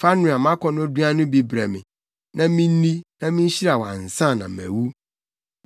Fa noa mʼakɔnnɔduan no bi brɛ me, na minni, na minhyira wo ansa na mawu.”